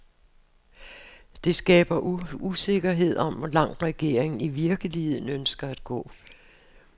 Det skaber usikkerhed om, hvor langt regeringen i virkeligheden ønsker at gå.